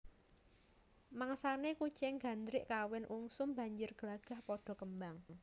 Mangsané kucing gandhik kawin ungsum banjir glagah padha kembang